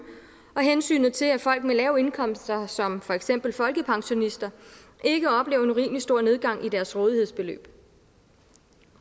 og hensynet til at folk med lave indkomster som for eksempel folkepensionister ikke oplever en urimelig stor nedgang i deres rådighedsbeløb